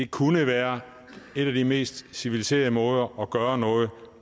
kunne være en af de mest civiliseret måder at gøre noget